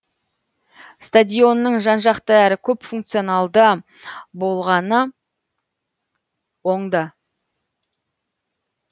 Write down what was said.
стадионның жан жақты әрі көпфункционалды болғаны оңды